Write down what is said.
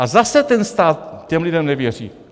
A zase ten stát těm lidem nevěří.